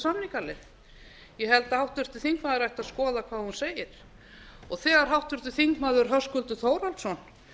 samningaleið ég held að háttvirtur þingmaður ætti að skoða hvað hún segir og þegar háttvirtur þingmaður höskuldur þórhallsson